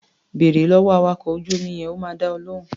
Bèrè lọ́wọ́ awakọ̀ ojú-omi yẹn, ó máa dá ọ lóhùn.